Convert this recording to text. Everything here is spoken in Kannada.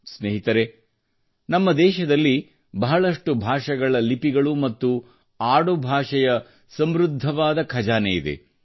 ಸ್ನೇಹಿತರೆ ನಮ್ಮ ದೇಶದಲ್ಲಿ ಬಹಳಷ್ಟು ಭಾಷೆಗಳ ಲಿಪಿಗಳು ಮತ್ತು ಆಡುಭಾಷೆಯ ಸಮೃದ್ಧವಾದ ಖಜಾನೆಯಿದೆ